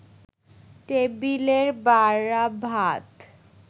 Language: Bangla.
টেবিলের বাড়া ভাত